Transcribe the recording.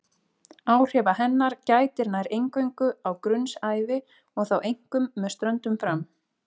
Áhrifa hennar gætir nær eingöngu á grunnsævi og þá einkum með ströndum fram.